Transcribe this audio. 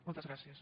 moltes gràcies